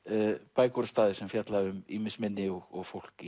bækur og staðir sem fjalla um ýmis minni og fólk